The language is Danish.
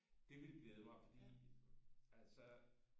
Det ville glæde mig fordi altså